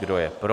Kdo je pro?